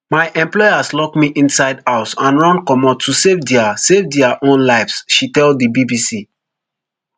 my employers lock me isnide house and run comot to save dia save dia own lives she tell di bbc